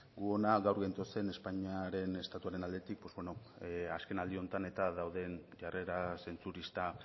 gu hona gaur gentozen espainiaren estatuaren aldetik azkenaldi honetan eta dauden jarrera zentsurista